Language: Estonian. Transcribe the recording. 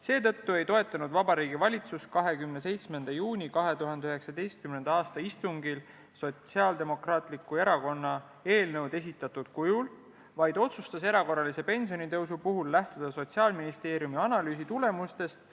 Seetõttu ei toetanud Vabariigi Valitsus 27. juuni 2019. a istungil SDE eelnõud esitatud kujul, vaid otsustas erakorralise pensionitõusu puhul lähtuda Sotsiaalministeeriumi analüüsi tulemustest ...